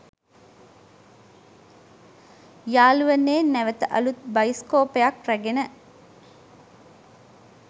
යාළුවනේ නැවත අළුත් බයිස්කෝපයක් රැගෙන